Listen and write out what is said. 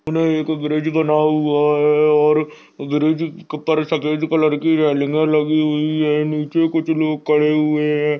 हमे एक ब्रिज बना हुआ है और ब्रिज क ऊपर सफेद कलर की रेलिंगे लगी हुई है नीचे कुछ लोग खड़े हुए हैं।